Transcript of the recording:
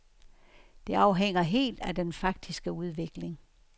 Det afhænger helt af den faktiske udvikling.